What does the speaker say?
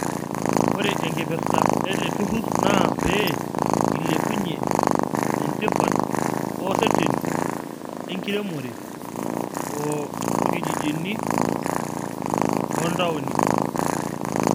Ore enkipirta ele turur naa pee ilepunyie entipat oo reteni enkiremore oo orkijijini oo ntaonini.